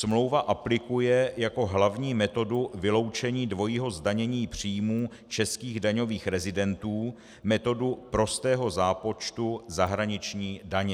Smlouva aplikuje jako hlavní metodu vyloučení dvojího zdanění příjmů českých daňových rezidentů, metodu prostého zápočtu zahraniční daně.